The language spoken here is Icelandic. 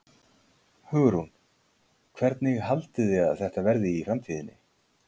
Hugrún: Hvernig haldið þið að þetta verði í framtíðinni?